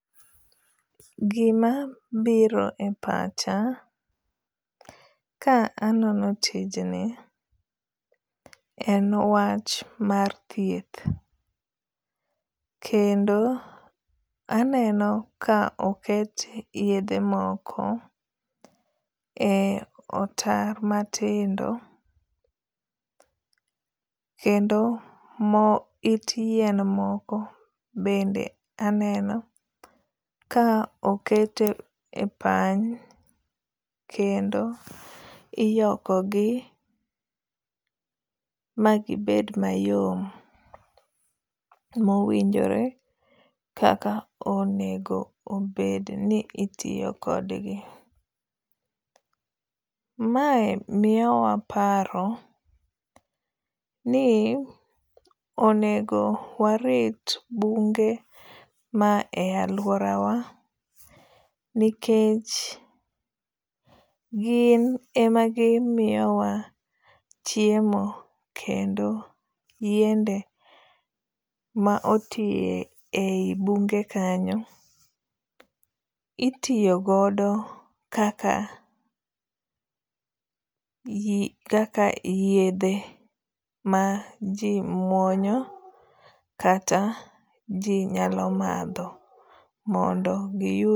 Gima biro e pacha ka anono tijni en wach mar thieth. Kendo aneno ka oket yedhe moko e otar matindo. Kendo it yien moko bende aneno ka okete e pany kendo iyoko gi ma gibed mayom mowinjore kaka onego obed ni itiyo kod gi. Mae miyo wa paro ni onego warit bunge ma e lauora wa nikech gin ema gimiyo wa chiemo kendo yiende ma otie eyi bunge kanyo itiyo godo kaka kaka yedhe ma ji muonyo kata ji nyalo madho mondo giyud.